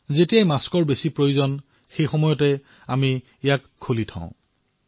যেতিয়া মাস্কৰ প্ৰয়োজন অধিক হয় তেতিয়াই আমি মাস্কখন আঁতৰাই দিও